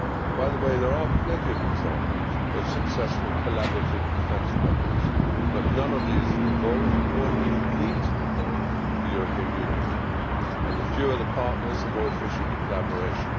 By the way, there are plenty of examples of successful collaborative defence projects, but none of these have involved or indeed need to involve the European Union, and the fewer the partners, the more efficient the collaboration.